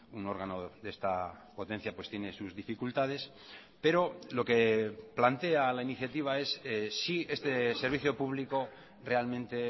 un órgano de esta potencia tiene sus dificultades pero lo que plantea la iniciativa es si este servicio público realmente